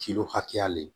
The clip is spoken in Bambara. hakɛya le